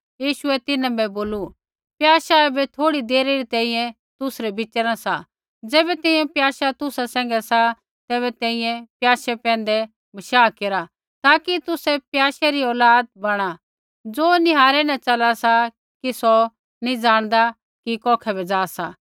यीशुऐ तिन्हां बै बोलू प्याशा ऐबै थोड़ी देरे री तैंईंयैं तुसरै बीचा न सा ज़ैबै तैंईंयैं प्याशा तुसा सैंघै सा तैबै तैंईंयैं प्याशै पैंधै बशाह केरा ताकि तुसै प्याशै री औलाद बणा ज़ो निहारै न चला सा कि सौ नैंई जाणदा कि कौखै बै जा सा